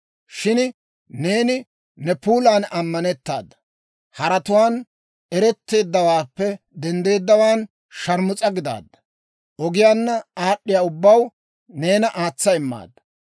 «‹ «Shin neeni ne puulan ammanettaada; haratuwaan eretteeddawaappe denddeeddawaan sharmus'a gidaadda; ogiyaanna aad'd'iyaa ubbaw neena aatsa immaadda.